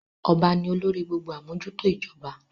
Ọba ni olórí gbogbo amojuto ijoba.